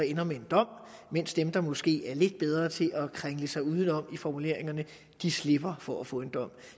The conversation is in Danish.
ender med en dom mens dem der måske er lidt bedre til at kringle sig udenom i deres formuleringer slipper for at få en dom